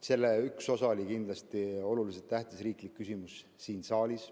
Selle üks osi oli kindlasti oluliselt tähtsa riikliku küsimuse arutelu siin saalis.